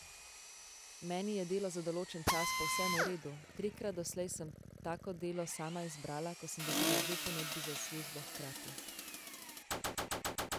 Meni je delo za določen čas povsem v redu, trikrat doslej sem tako delo sama izbrala, ko sem dobila dve ponudbi za službo hkrati.